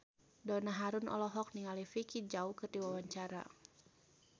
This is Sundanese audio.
Donna Harun olohok ningali Vicki Zao keur diwawancara